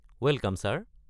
Welcome sir.